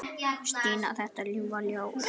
Stína, þetta ljúfa ljós.